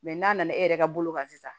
Mɛ n'a nana e yɛrɛ ka bolo kan sisan